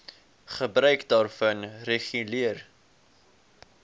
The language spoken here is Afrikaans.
gebruik daarvan reguleer